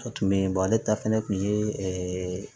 A tun bɛ yen ale ta fana tun ye